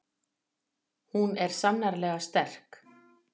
Hún er sannarlega sterk.